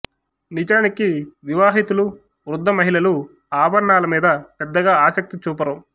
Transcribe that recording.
నిజానికి వివాహితులు వృద్ధ మహిళలు ఆభరణాల మీద పెద్దగా ఆసక్తి చూపరు